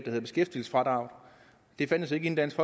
hedder beskæftigelsesfradraget det fandtes ikke inden dansk